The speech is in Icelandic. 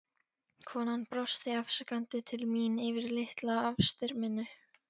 Konan brosti afsakandi til mín yfir litla afstyrminu.